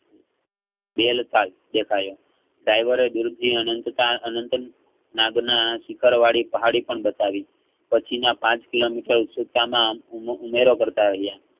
દેખાયો driver દૂરથી અંનતા~અંત નાદના શિખરવાળી પહાડી પણ બતાવી પછી પાંચ કિલોમીટર ઉમેરો કર્તા રહિયા.